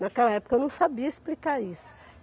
Naquela época eu não sabia explicar isso.